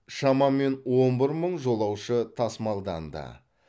шамамен он бір мың жолаушы тасымалданды